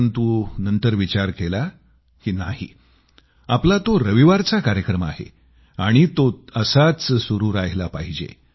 परंतु नंतर विचार केला की नाही आपला तो रविवारवाला कार्यक्रम आहे आणि तो असाच सुरू राहिला पाहिजे